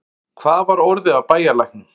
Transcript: Hvað var orðið af bæjarlæknum?